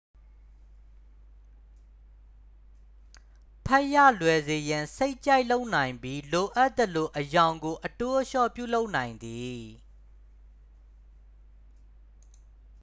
ဖတ်ရလွယ်စေရန် စိတ်ကြိုက်လုပ်နိုင်ပြီး လိုအပ်သလို အရောင်ကိုအတိုးအလျှော့ ပြုလုပ်နိုင်သည်